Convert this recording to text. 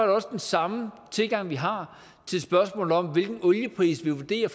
også den samme tilgang vi har til spørgsmålet om hvilken oliepris vi vurderer